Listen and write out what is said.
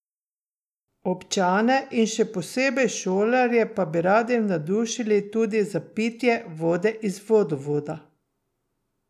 Občane in še posebej šolarje pa bi radi navdušili tudi za pitje vode iz vodovoda.